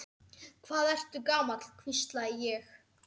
Hvað ertu gamall, hvísla ég.